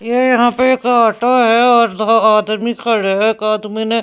ये यहाँ पे एक ऑटो है और दो आदमी खड़े है एक आदमी ने --